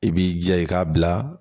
I b'i jija i k'a bila